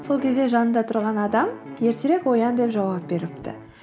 сол кезде жанында тұрған адам ертерек оян деп жауап беріпті